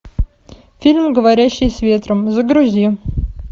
фильм говорящие с ветром загрузи